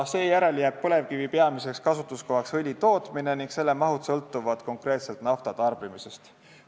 Seejärel jääb põlevkivi peamiseks kasutuskohaks õlitootmine ning selle mahud sõltuvad konkreetselt nafta tarbimisest.